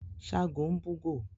ságo ń bù góo